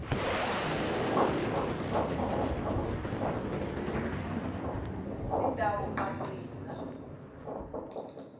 sitawucacisa